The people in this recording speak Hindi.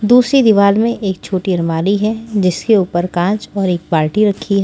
दूसरी दीवार में एक छोटी अरमाली है जिसके ऊपर कांच और एक बाल्टी रखी है।